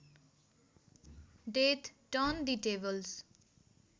death turn the tables